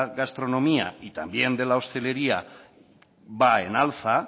gastronomía y también de la hostelería va en alza